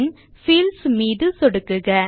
பின் fields மீது சொடுக்குக